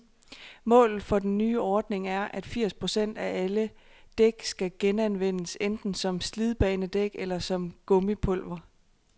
Målet for den nye ordning er, at firs procent af alle dæk skal genanvendes, enten som slidbanedæk eller som gummipulver.